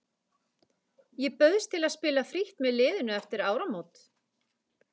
Ég bauðst til að spila frítt með liðinu eftir áramót.